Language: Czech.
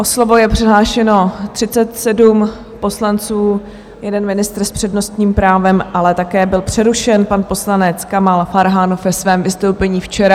O slovo je přihlášeno 37 poslanců, jeden ministr s přednostním právem, ale také byl přerušen pan poslanec Kamal Farhan ve svém vystoupení včera.